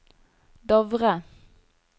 Dovre